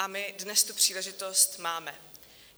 A my dnes tu příležitost máme.